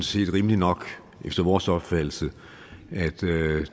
set rimeligt nok efter vores opfattelse at